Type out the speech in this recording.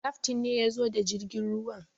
Kaftain ne ya zo da jirgin ruwan.